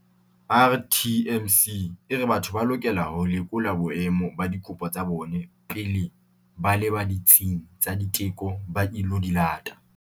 RTMC e re batho ba lokela ho lekola boemo ba dikopo tsa bona pele ba leba ditsing tsa diteko ba ilo di lata.